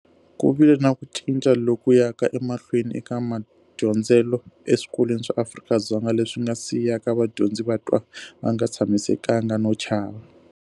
Ku vile na ku cinca loku yaka emahlweni eka madyondzelo eswikolweni swa Afrika-Dzonga, leswi nga siyaka vadyondzi va twa va nga tshamisekanga no chava.